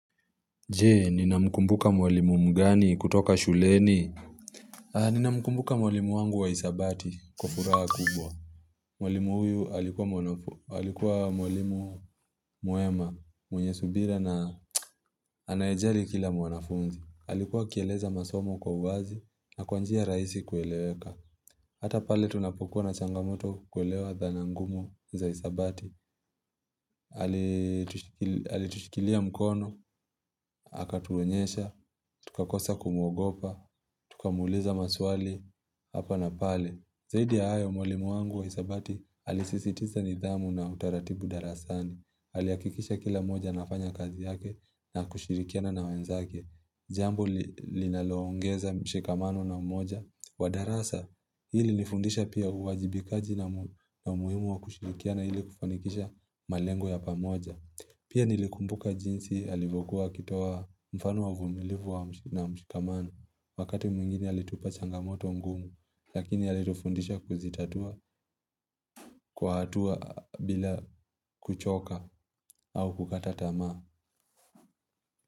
Jee ninamkumbuka mwalimu mgani kutoka shuleni Ninamkumbuka mwalimu wangu wa hesabati kwa furaha kubwa Mwalimu huyu alikuwa mwalimu mwema mwenye subira na anayejali kila mwanafunzi alikuwa akieleza masomo kwa uwazi na kwa njia rahisi kueleweka Hata pale tunapokuwa na changamoto kuelewa dhana ngumu za hesabati alitushikilia mkono akatuonyesha, tukakosa kumwogopa, tukamuuliza maswali hapa na pale Zaidi ya hayo mwalimu wangu wa hesabati alisisitiza nidhamu na utaratibu darasani alihakikisha kila mmoja anafanya kazi yake na kushirikiana na wenzake Jambo linaloongeza mshikamano na umoja wa darasa hii ilinifundisha pia uwajibikaji na umuhimu wa kushirikiana ili kufanikisha malengo ya pamoja Pia nilikumbuka jinsi alivyokuwa akitoa mfano wa uvumilivu na mshikamano Wakati mwingine alitupa changamoto ngumu Lakini alitufundisha kuzitatua kwa hatua bila kuchoka au kukata tamaa.